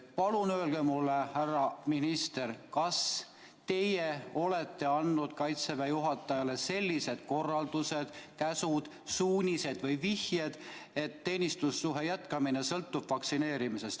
Palun öelge, härra minister, kas teie olete andnud Kaitseväe juhatajale sellised korraldused, käsud, suunised või vihjed, et teenistussuhte jätkamine sõltub vaktsineerimisest.